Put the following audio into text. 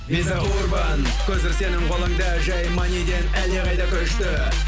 виза урбан көзір сенің қолыңда жай маниден әлдеқайда күшті